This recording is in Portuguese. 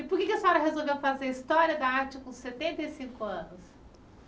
E por que é que a senhora resolveu fazer História da Arte com setenta e cinco anos?